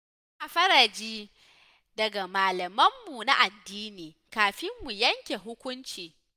Muna fara ji daga malamanmu na addini, kafin mu yanke hukunci.